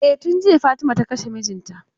E, tun jiya Fatima ta kashe mijinta.